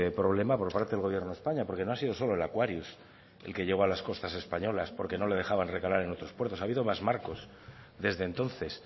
problema por parte del gobierno de españa porque no ha sido solo el aquarius el que llegó a las costas españolas porque no le dejaban recalar en otros puertos ha habido más barcos desde entonces